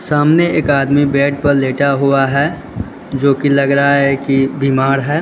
सामने एक आदमी बेड पर लेटा हुआ है जो की लग रहा है कि बीमार है।